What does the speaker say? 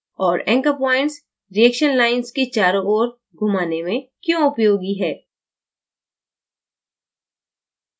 और anchor pointsreaction lines के चारों ओर घुमाने में क्यों उपयोगी है